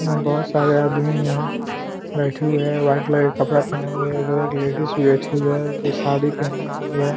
यहाँ बहोत सारे आदमी हैं बैठे हुए है वाइट कलर का कपड़ा पहने हुए हैं इधर एक लेडीज़ भी बैठी हुई है जो साड़ी पहनी हुई है।